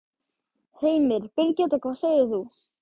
Heimir: Birgitta, hvað segir þú?